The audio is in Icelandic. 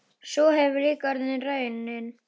Sú hefur líka orðið raunin.